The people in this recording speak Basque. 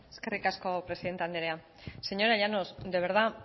eskerrik asko presidente andrea señora llanos de verdad